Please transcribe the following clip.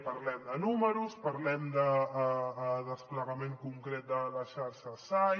parlem de números parlem de desplegament concret de la xarxa sai